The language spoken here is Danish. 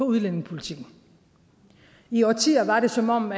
udlændingepolitikken i årtier var det som om